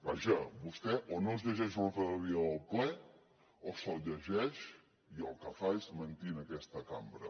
vaja vostè o no es llegeix l’ordre del dia del ple o se’l llegeix i el que fa és mentir en aquesta cambra